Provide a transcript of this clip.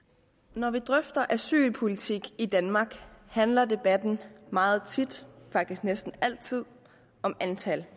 når vi drøfter asylpolitik i danmark handler debatten meget tit faktisk næsten altid om antal